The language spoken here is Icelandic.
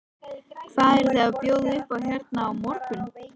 Hvað eruð þið að bjóða upp á hérna á morgun?